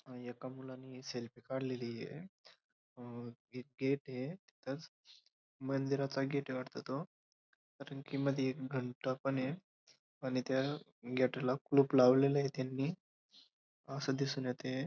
अ येका मुलाने हे सेल्फी काडलेलीये अ एक गेट ये तिथंच मंदिराचा गेट ए वाटतं तो कारण की मध्ये एक घंटा पण ए आणि त्या गेट ला कुलूप लावलेले ये त्यांनी अस दिसून येतंय.